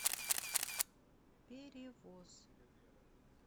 перевоз